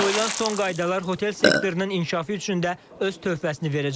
Qoyulan son qaydalar hotel sektorunun inkişafı üçün də öz töhfəsini verəcək.